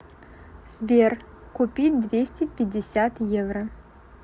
сбер купить двести пятьдесят евро